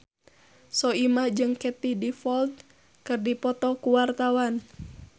Soimah jeung Katie Dippold keur dipoto ku wartawan